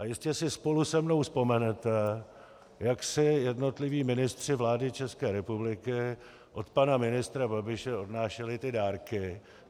A jistě si spolu se mnou vzpomenete, jak si jednotliví ministři vlády České republiky od pana ministra Babiše odnášeli ty dárky.